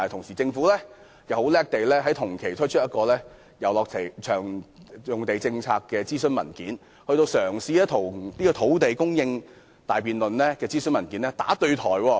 然而，政府很厲害，同期就私人遊樂場地政策檢討展開諮詢，與土地供應專責小組的辯論"打對台"。